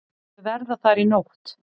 Þau verða þar í nótt.